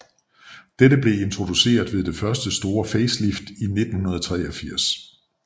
Dette blev introduceret ved det første store facelift i 1983